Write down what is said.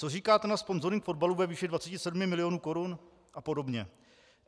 Co říkáte na sponzoring fotbalu ve výši 27 milionů korun a podobně?